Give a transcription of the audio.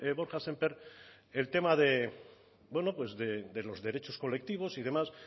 borja semper el tema de bueno pues de los derechos colectivos y demás